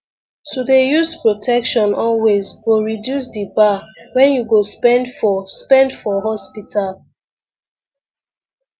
to dey use protection always go reduce di bar wen you go spend for spend for hospital